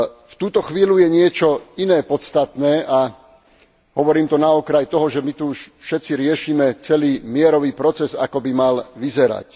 V túto chvíľu je niečo iné podstatné a hovorím to na okraj toho, že my tu už všetci riešime celý mierový proces, ako by mal vyzerať.